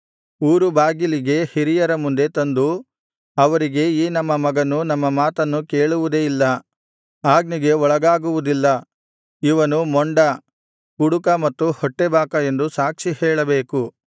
ಊರು ಬಾಗಿಲಿಗೆ ಹಿರಿಯರ ಮುಂದೆ ತಂದು ಅವರಿಗೆ ಈ ನಮ್ಮ ಮಗನು ನಮ್ಮ ಮಾತನ್ನು ಕೇಳುವುದೇ ಇಲ್ಲ ಆಜ್ಞೆಗೆ ಒಳಗಾಗುವುದಿಲ್ಲ ಇವನು ಮೊಂಡ ಕುಡುಕ ಮತ್ತು ಹೊಟ್ಟೆಬಾಕ ಎಂದು ಸಾಕ್ಷಿಹೇಳಬೇಕು